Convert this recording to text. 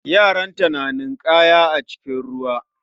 Yaranta na ninkaya a cikin ruwa